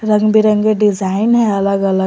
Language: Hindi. रंगबिरंगे डिजाइन है अलग अलग।